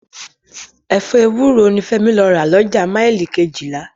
Ẹ̀fọ́ ewúro ni Fẹ́mi lọ rà lọ́jà Mile túwẹ̀f